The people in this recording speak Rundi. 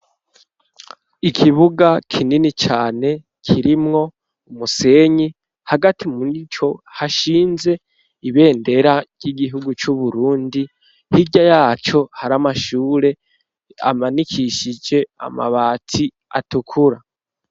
Ikibuga kinini cane, kirimwo umusenyi hagati murico hashinze ibendera ry'igihugu c'uburundi, hirya yaco hari Amashure ,amanikishije amabati atukura.